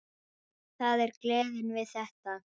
Það er gleðin við þetta.